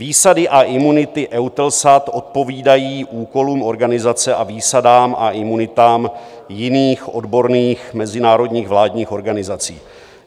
Výsady a imunity EUTELSAT odpovídají úkolům organizace a výsadám a imunitám jiných odborných mezinárodních vládních organizací.